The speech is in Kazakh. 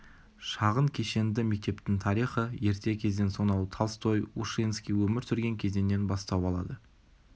шағын кешенді мектептің тарихы ерте кезден сонау толстой ушинский өмір сүрген кезеңнен бастау алады